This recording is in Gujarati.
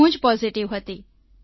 હું જ પોઝિટીવ હતી